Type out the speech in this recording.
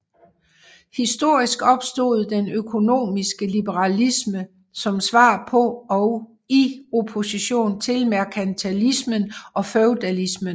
Historisk opstod den økonomiske liberalisme som svar på og i opposition til merkantilismen og feudalismen